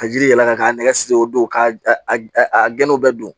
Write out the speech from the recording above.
Ka jiri yɛlɛma k'a nɛgɛ siri o don ka a gindow bɛɛ don